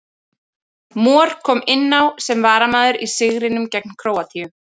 Mor kom inn á sem varamaður í sigrinum gegn Króatíu.